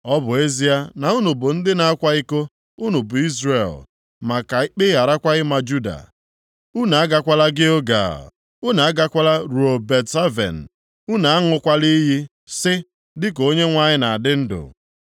“Ọ bụ ezie na unu bụ ndị na-akwa iko unu bụ Izrel, ma ka ikpe gharakwa ịma Juda. “Unu agakwala Gilgal, unu agakwala ruo Bet-Aven, unu aṅụkwala iyi sị, ‘Dịka Onyenwe anyị na-adị ndụ.’